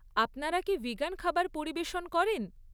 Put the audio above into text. আপনারা কি ভিগান খাবার পরিবেশন করেন?